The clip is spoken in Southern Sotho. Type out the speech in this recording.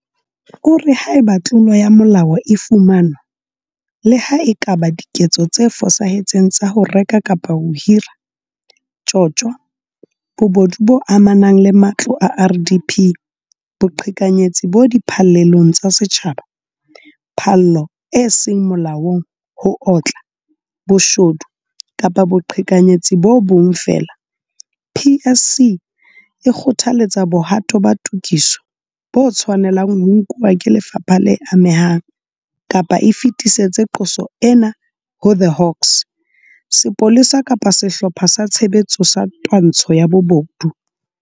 O re haeba tlolo ya molao e fumanwa le ha e ka ba diketso tse fosahetseng tsa ho reka kapa ho hira, tjotjo, bobodu bo amanang le matlo a RDP, boqhekanyetsi bo di phallelong tsa setjhaba, phallo e seng molaong, ho otla, bo shodu kapa boqhekanyetsi bo bong feela PSC e kgothaletsa bohato ba tokiso bo tshwane lang ho nkuwa ke lefapha le amehang kapa e fetisetse qoso ena ho The Hawks, Sepolesa kapa Sehlopha sa Tshebetso sa Twantsho ya Bobodu.